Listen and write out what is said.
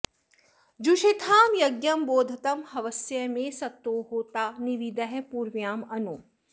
जुषेथां यज्ञं बोधतं हवस्य मे सत्तो होता निविदः पूर्व्या अनु